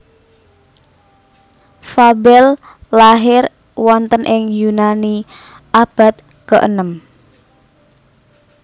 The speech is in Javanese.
Fabel lahir wonten ing Yunani abad keenem